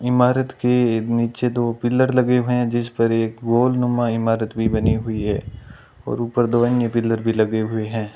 इमारत के नीचे दो पिलर लगे हुए हैं जीस पर एक गोलनुमा ईमारत भी बनी हुई है और ऊपर दो एन_ए पिलर भी लगे हुए हैं।